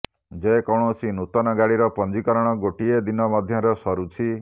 ଯେକୌଣସି ନୂତନ ଗାଡିର ପଞ୍ଜିକରଣ ଗୋଟିଏ ଦିନ ମଧ୍ୟରେ ସରୁଛି